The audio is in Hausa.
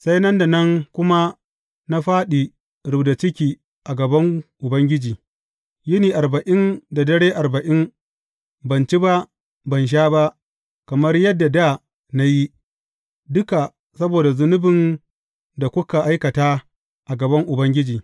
Sai nan da nan kuma na fāɗi rubda ciki a gaban Ubangiji, yini arba’in da dare arba’in; ban ci ba, ban sha ba, kamar yadda dā na yi, duka saboda zunubin da kuka aikata a gaban Ubangiji.